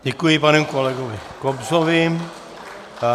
Děkuji panu kolegovi Kobzovi.